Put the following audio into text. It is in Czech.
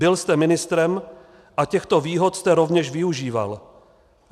Byl jste ministrem a těchto výhod jste rovněž využíval.